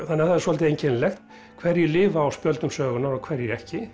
það er svolítið einkennilegt hverjir lifa á spjöldum sögunnar og hverjir ekki